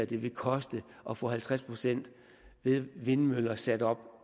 det vil koste at få halvtreds procent vindmøller sat op